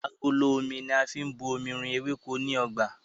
Agolo Omi ni a fi bu omi rin eweko ni ọgba.